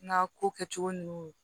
N ka ko kɛcogo ninnu